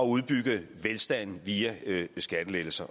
udbygge velstanden via skattelettelser